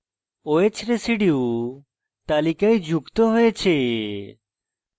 oh residue তালিকায় যুক্ত হয়েছে